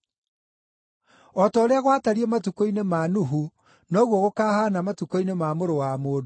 “O ta ũrĩa gwatariĩ matukũ-inĩ ma Nuhu, noguo gũkaahaana matukũ-inĩ ma Mũrũ wa Mũndũ.